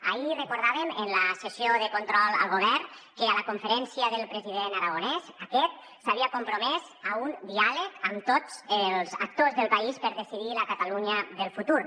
ahir recordàvem en la sessió de control al govern que a la conferència del president aragonès aquest s’havia compromès a un diàleg amb tots els actors del país per decidir la catalunya del futur